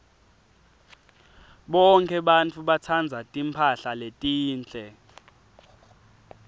bonkhe bantfu batsandza timphahla letinhle